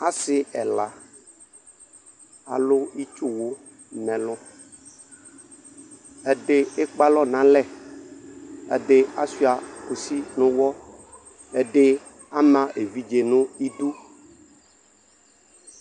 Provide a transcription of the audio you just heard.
Asi ɛla alu itsuwu nɛlu ɛdi ekpe alɔ nalɛ ɛdi achua kusi na aɣla ɛdi ama evidze nu idu